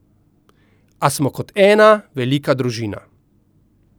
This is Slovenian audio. A smo kot ena velika družina.